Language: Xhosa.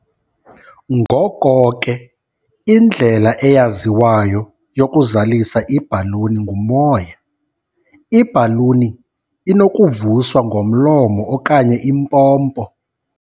Ngoko ke, indlela eyaziwayo yokuzalisa ibhaluni ngumoya, ibhaluni inokuvuswa ngomlomo okanye impompo.